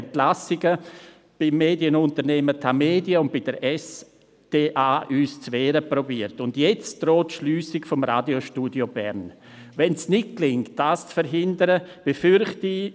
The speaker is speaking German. Nun noch ein dritter Gedanke: Der drohende Wegzug des Radiostudios Bern steht aus meiner Sicht